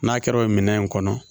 N'a kɛra o minɛn in kɔnɔ